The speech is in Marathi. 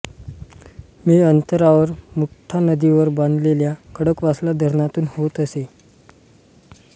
मी अंतरावर मुठा नदीवर बांधलेल्या खडकवासला धरणातून होत असे